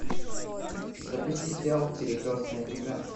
запусти сериал перекрестная игра